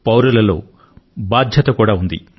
పౌరులలో బాధ్యత కూడా ఉంది